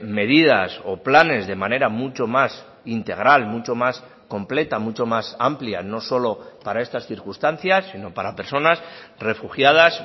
medidas o planes de manera mucho más integral mucho más completa mucho más amplia no solo para estas circunstancias sino para personas refugiadas